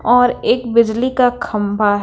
और एक बिजली का खंभा--